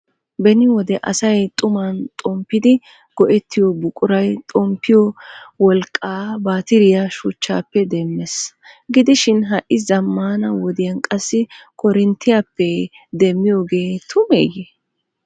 Beni wode asay xumman xomppidi go"ettiyo buquray, xomppiyo wolqqaa baattiriya shuchchappe demmees. Gidoshin ha'i zammana wodiyaan qassi korintiyappe demmiyogee tumeyye?